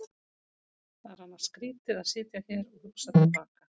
Það er annars skrýtið að sitja hér og hugsa til baka.